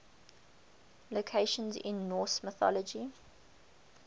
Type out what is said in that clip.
locations in norse mythology